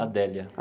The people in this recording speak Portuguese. Adélia.